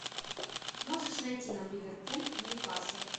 можешь найти нам ливерпуль ньюкасл